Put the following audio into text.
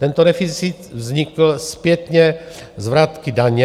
Tento deficit vznikl zpětně z vratky daně.